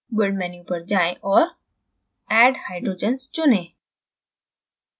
build menu पर जाएँ और add hydrogens चुनें